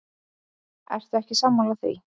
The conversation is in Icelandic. Ertu ekki sammála því?